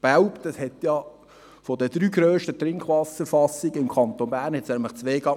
Belp machte von den drei grössten Trinkwasserfassungen im Kanton Bern gleich mal zwei zu.